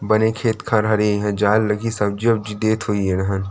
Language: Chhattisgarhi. बने खेत-खार हरे ये ह जाल लगही सब्जी वबजी देत होही ये डहन--